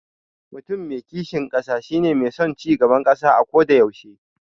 Mutum mai kishin ƙasa shi ne mai son cigaban ƙasa ako da yaushe.